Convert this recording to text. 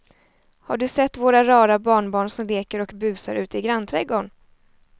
Har du sett våra rara barnbarn som leker och busar ute i grannträdgården!